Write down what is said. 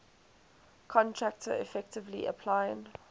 contractor effectively applying